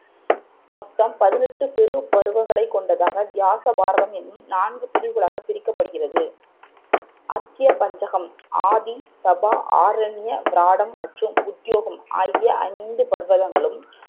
மொத்தம் பதினெட்டு பெரும் பருவங்கள் கொண்ட வியாச பாரதம் என்னும் நான்கு பிரிவுகளாக பிரிக்கப்பட்டுகிறது அத்ய பஞ்சகம் ஆதி, சபா, ஆர்ண்ய, விராடம் மற்றும் உத்யோகம் ஆகிய ஐந்து பர்வகங்களும்